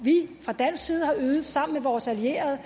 vi fra dansk side har ydet sammen med vores allierede